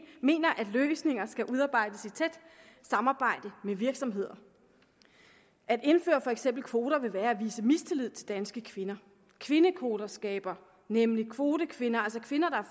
mener at løsninger skal udarbejdes i tæt samarbejde med virksomheder at indføre for eksempel kvoter vil være at vise mistillid til danske kvinder kvindekvoter skaber nemlig kvotekvinder altså kvinder